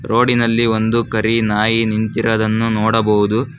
Road ನಲ್ಲಿ ಒಂದು ಕರಿ ನಾಯಿ ನಿಂತಿರದನ್ನು ನೋಡಬಹುದು.